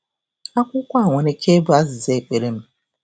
Akwụkwọ a nwere ike ịbụ azịza ekpere m!